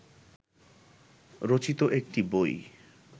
রচিত একটি বই